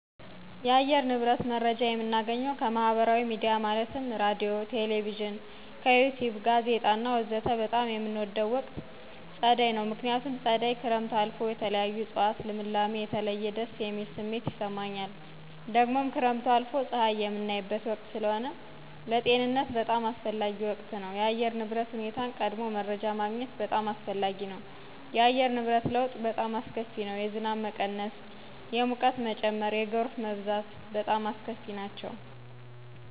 የአየር ንብረት መረጃ የምናገኘው ከማህበራዊ ሚዲያ ማለትም ራዲዮ፣ ቴሌቪዥን፣ ከዪቲዩብ፣ ጋዜጣ፣ ወዘተ በጣም የምንወደው ወቅት ፀደይ ነው ምክንያቱም ፀደይ ክረምት አልፎ የተለያዩ እፀዋት ልምላሜ የተለየ ደስ የሚል ስሜት ይሰማኛል ደግሞም ክረምቱ አልፎ ፀሀይ የምናይበት ወቅት ስለሆነ ለጤንነት በጣም አስፈላጊ ወቅት ነው የአየር ንብረት ሁኔታን ቀድሞ መረጃ ማግኘት በጣም አስፈላጊ ነው የአየር ንብረት ለውጥ በጣም አስከፊ ነው የዝናብ መቀነስ የሙቀት መጨመር የጎርፍ መብዛት በጣም አስከፊ ነቸው